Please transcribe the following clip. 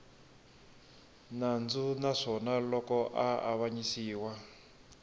nandzu naswona loko a avanyisiwa